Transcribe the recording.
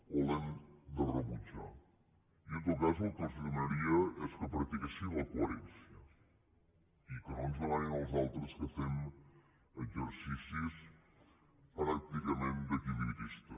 o l’hem de rebutjar i en tot cas el que els demanaria és que practiquessin la coherència i que no ens demanin als altres que fem exercicis pràcticament d’equilibrista